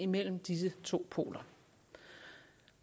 mellem disse to poler